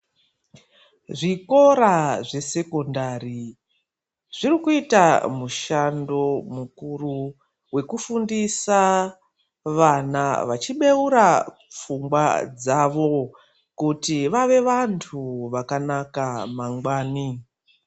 Zvikora zvesekondari zvirikuita mushando mukuru wekufundisa vana vachibeura pfungwa dzavo kuti vave vantu vakanaka mangwani.